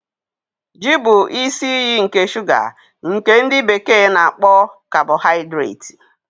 Yam bụ isi iyi nke shuga nke ndi bekee na-akpo kabohaidreti.